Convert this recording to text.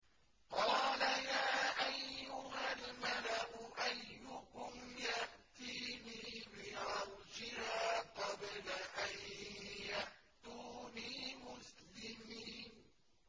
قَالَ يَا أَيُّهَا الْمَلَأُ أَيُّكُمْ يَأْتِينِي بِعَرْشِهَا قَبْلَ أَن يَأْتُونِي مُسْلِمِينَ